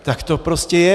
Tak to prostě je.